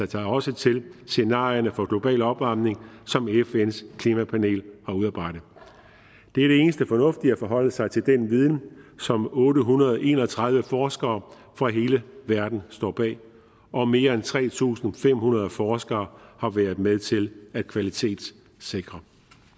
sig også til scenarierne for global opvarmning som fns klimapanel har udarbejdet det er det eneste fornuftige at forholde sig til den viden som otte hundrede og en og tredive forskere fra hele verden står bag og mere end tre tusind fem hundrede forskere har været med til at kvalitetssikre